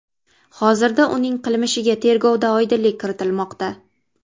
Hozirda uning qilmishiga tergovda oydinlik kiritilmoqda.